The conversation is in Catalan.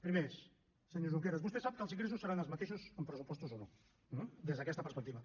primer senyor junqueras vostè sap que els ingressos seran els mateixos amb pressupostos o no eh des d’aquesta perspectiva